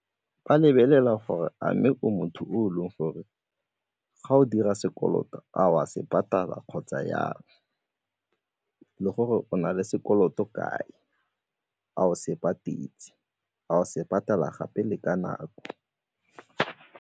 Ba lebelela gore a mme o motho o leng gore ga o dira sekoloto a o a se patala kgotsa jang, le gore o na le sekoloto kae, a o se patetse, a o se patala gape le ka nako?